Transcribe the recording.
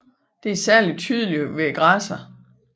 Det er særligt tydeligt hos græsserne